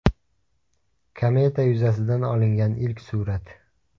Kometa yuzasidan olingan ilk surat .